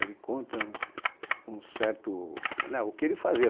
Ele conta um certo... Né O que ele fazia?